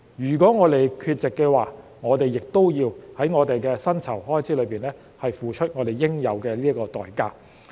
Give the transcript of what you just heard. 如果我們缺席的話，我們也要在薪酬開支上付出應有的代價。